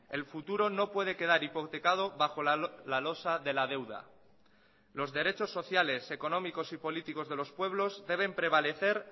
el futuro no puede quedar hipotecado bajo la losa de la deuda los derechos sociales económicos y políticos de los pueblos deben prevalecer